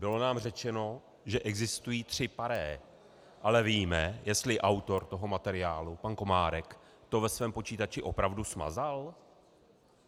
Bylo nám řečeno, že existují tři pare, ale víme, jestli autor toho materiálu pan Komárek to ve svém počítači opravdu smazal?